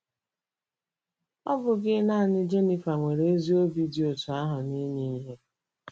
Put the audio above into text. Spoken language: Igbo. Ọ bụghị nanị Geniva nwere ezi obi dị otú ahụ n'inye ihe..